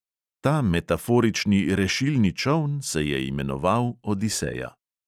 Ta metaforični rešilni čoln se je imenoval odiseja.